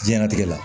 Jiyɛn latigɛ la